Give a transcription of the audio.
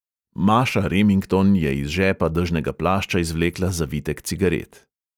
Maša remington je iz žepa dežnega plašča izvlekla zavitek cigaret.